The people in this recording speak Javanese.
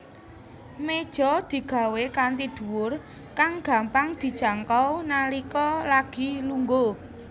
Méja digawé kanthi dhuwur kang gampang dijangkau nalika lagi lungguh